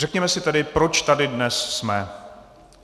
Řekněme si tedy, proč tady dnes jsme.